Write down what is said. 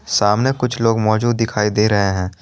सामने कुछ लोग मौजूद दिखाई दे रहे हैं।